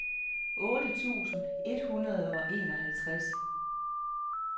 otte tusind et hundrede og enoghalvtreds